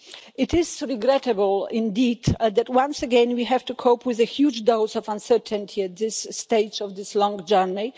It is regrettable indeed that once again we have to cope with a huge dose of uncertainty at this stage of this long journey.